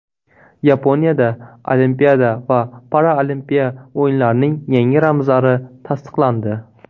Yaponiyada Olimpiada va Paralimpiya o‘yinlarining yangi ramzlari tasdiqlandi.